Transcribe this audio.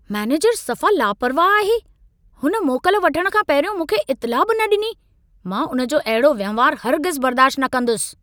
मैनेजरु सफ़ा लापरवाह आहे। हुन मोकल वठणु खां पहिरियों मूंखे इतिला बि न डि॒नी। मां उन जो अहिड़ो वहिंवार हरगिज़ बर्दाशत न कंदुसि।